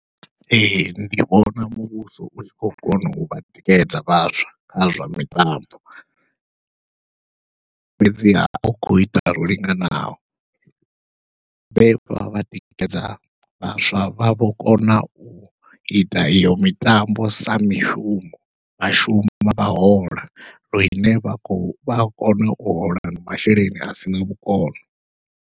Ee ndi vhona muvhuso u tshi khou kona u vha tikedza vhaswa kha zwa mitambo, fhedziha au khou ita zwo linganaho vha tikedza vhaswa vha vho kona uita iyo mitambo sa mishumo vhashumi vha shuma vha hola lune vha kho vha kona u hola masheleni a sina vhukono.